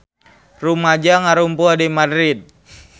Rumaja ngarumpul di Madrid